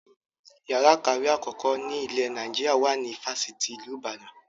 Yàrá ìkàwé àkọ́kọ́ ni ile Naijiria wà ní ifásitì ti ilu Ìbàdàn